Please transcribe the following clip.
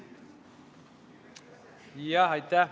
Aitäh!